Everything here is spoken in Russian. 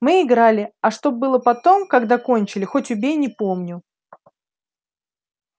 мы играли а что было потом когда кончили хоть убей не помню